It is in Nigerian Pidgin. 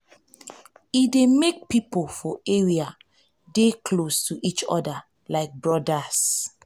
e dey make pipo for area dey close to each other like brodas